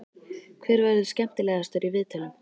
Hver verður skemmtilegastur í viðtölum?